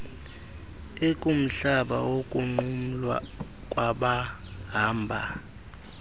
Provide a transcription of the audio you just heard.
ekumhlaba wokunqumla kwabahamba